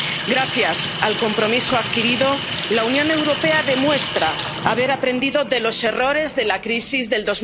Gracias al compromiso adquirido, la Unión Europea demuestra haber aprendido de los errores de la crisis de